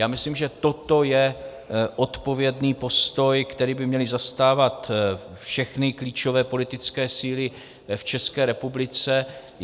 Já myslím, že toto je odpovědný postoj, který by měly zastávat všechny klíčové politické síly v České republiky.